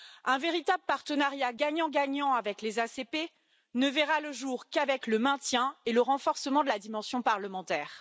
Un véritable partenariat gagnant gagnant avec les ACP ne verra le jour qu'avec le maintien et le renforcement de la dimension parlementaire.